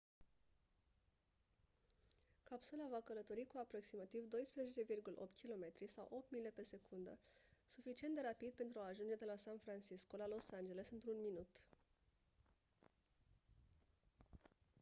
capsula va călători cu aproximativ 12,8 km sau 8 mile pe secundă suficient de rapid pentru a ajunge de la san francisco la los angeles într-un minut